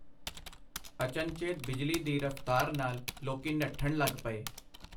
ਅਚਨਚੇਤ ਬਿਜਲੀ ਦੀ ਰਫਤਾਰ ਨਾਲ ਲੋਕੀਂ ਨੱਠਣ ਲਗ ਪਏ.